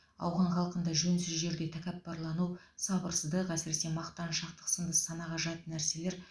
ауған халқында жөнсіз жерде тәкаппарлану сабырсыздық әсіре мақтаншақтық сынды санаға жат нәрселер